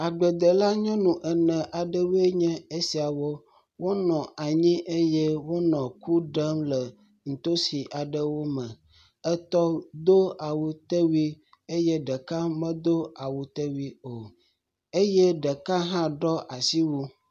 Agbledela nyɔnu ene aɖewoe nye esiawo. Wonɔ anyi eye wonɔ ku ɖem le ntosi aɖewo me. etɔ̃ do awutewui eye ɖeka medo awutewui o eye ɖeka hã ɖɔ asiwu.